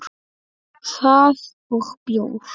Það og bjór.